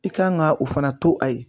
I kan ka o fana to a ye